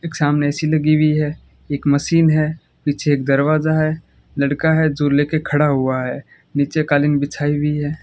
एक सामने ए_सी लगी हुई है एक मशीन है पीछे एक दरवाजा है लड़का है जो ले के खड़ा हुआ है नीचे कालीन बिछाई हुई है।